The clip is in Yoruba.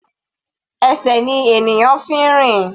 Ẹsẹ̀ ni ènìyàn fi ń rìn.